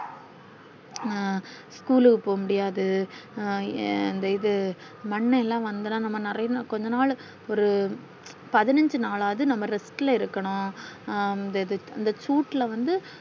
அஹ் school க்கு போக முடியாது அந்த இது மன்னன் எல்லாம் வந்துராம நெறைய கொஞ்ச நாள் ஒரு பதினெஞ்சு நாளாவுது நம்ம rest ல இருக்கனும் அ அந்த சூட்ல வந்து